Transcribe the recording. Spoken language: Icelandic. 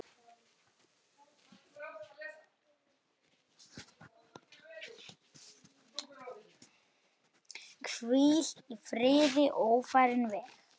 Hvíl í friði ófarinn veg.